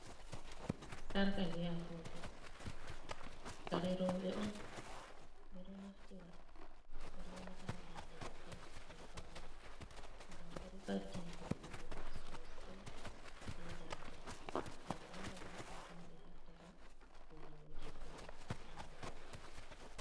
Sarka be agogo kare roɓe on, ɓe ɗo naftira ɓe ɗo wata ha dande mabbe to be fauni, ngam bo ɗo ɓaddina ɓe vodenga sosai be daraja, nden nden ta o ha totton ɓe heftata ko o debbo na o gorko.